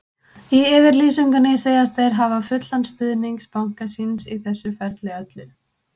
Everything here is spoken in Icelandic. Í yfirlýsingunni segjast þeir hafa fullan stuðning banka síns í þessu ferli öllu.